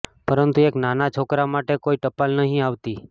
પરંતુ એક નાના છોકરા માટે કોઈ ટપાલ નહિ આવતી